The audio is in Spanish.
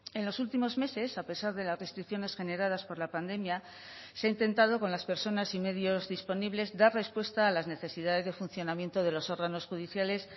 en los últimos meses a pesar de las restricciones generadas por la pandemia se ha intentado con las personas y medios disponibles dar respuesta a las necesidades de funcionamiento de los órganos judiciales